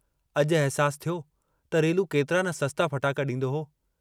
अजु अहसासु थियो त रेलू केतरा न सस्ता फटाका डींदो हो।